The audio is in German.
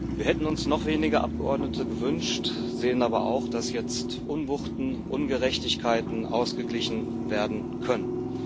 Wir hätten uns noch weniger Abgeordnete gewünscht, sehen aber auch, dass jetzt Unwuchten, Ungerechtigkeiten ausgeglichen werden können.